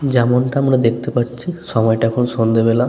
যেমনটা আমরা দেখতে পাচ্ছি সময়টা এখন সন্ধ্যাবেলা।